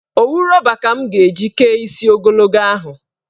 Owu rọba ka m ga-eji kee isi ogologo ahụ.